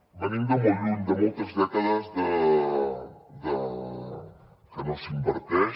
venim de molt lluny de moltes dècades que no s’inverteix